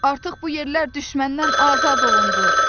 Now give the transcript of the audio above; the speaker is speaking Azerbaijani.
Artıq bu yerlər düşməndən azad olundu.